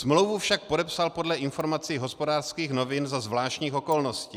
Smlouvu však podepsal podle informací Hospodářských novin za zvláštních okolností.